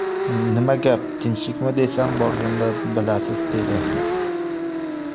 Nima gap tinchlikmi desam, ‘borganda bilasiz’ dedi.